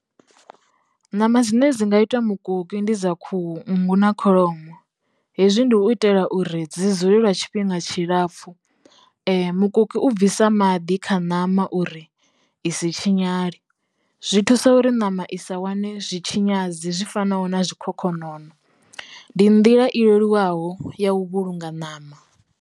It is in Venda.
Ṋama dzine dzi nga itiwa mukoki ndi dza khuhu, nngu na kholomo. Hezwi ndi u itela uri dzi dzule lwa tshifhinga tshilapfhu. Mukoki u bvisa maḓi kha ṋama uri isi tshinyale zwi thusa uri ṋama i sa wane zwi tshinyadzi zwi fanaho na zwikhokhonono ndi nḓila i leluwaho ya u vhulunga ṋama.